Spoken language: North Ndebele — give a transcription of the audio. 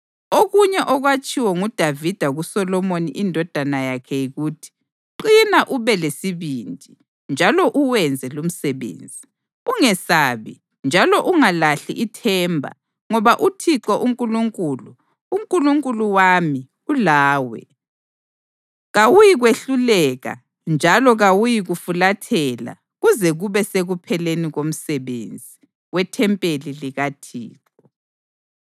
Okunye okwatshiwo nguDavida kuSolomoni indodana yakhe yikuthi, “Qina ube lesibindi, njalo uwenze lumsebenzi. Ungesabi njalo ungalahli ithemba ngoba uThixo uNkulunkulu, uNkulunkulu wami, ulawe. Kawuyikwehluleka njalo kayikukufulathela kuze kube sekupheleni komsebenzi wethempeli likaThixo.